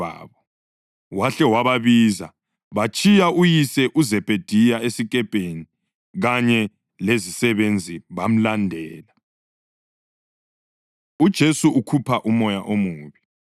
Wahle wababiza, batshiya uyise uZebhediya esikepeni kanye lezisebenzi bamlandela. UJesu Ukhupha Umoya Omubi